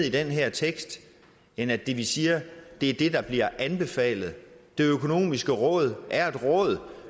i den her tekst end at det vi siger er det der bliver anbefalet det økonomiske råd er et råd